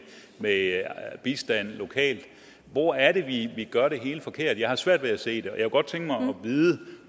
bistand lokalt hvor er det vi gør det hele forkert jeg har svært ved at se det og jeg kunne godt tænke mig at vide